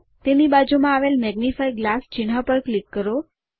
તેની બાજુમાં આવેલ મેગ્નિફાઇંગ ગ્લાસ ચિહ્ન પર ક્લિક કરો